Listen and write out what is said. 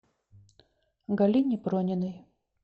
галине прониной